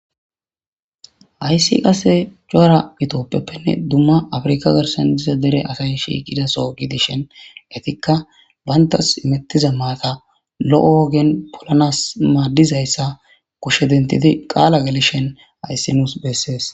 Hayssi qase coara itoppeppenne dumma afirikka garsan diza dere asay shiiqidaso giidishen etikka bayntas imettiza maata lo'o wogen polanas maaddizayssa kushe dentidi qaala galishhen ayssi nuus bessees.